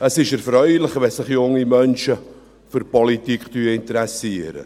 Es ist erfreulich, wenn sich junge Menschen für die Politik interessieren.